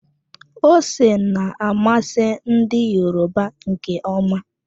Ose na-amasị ndi Yoruba nke ọma.